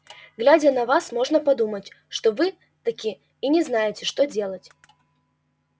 глядя на вас можно подумать что вы так таки и не знаете что делать